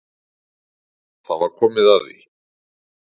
Það var komið að því.